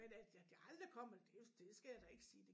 Men at at jeg aldrig kommer det det skal jeg da ikke sige det